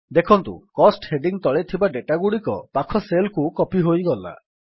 ଦେଖନ୍ତୁ cost heading ତଳେ ଥିବା ଡେଟାଗୁଡ଼ିକ ପାଖ ସେଲ୍ କୁ କପୀ ହୋଇଗଲା